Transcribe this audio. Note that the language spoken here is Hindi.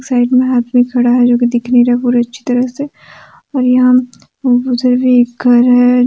राइट में एक आदमी खड़ा है जो कि दिख नहीं रहा है पूरे अच्छी तरह से और यहां उधर भी एक घर है।